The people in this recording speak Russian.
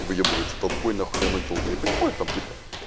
и выёбывается толпой на хуй на одну тёлку я понимаю там типа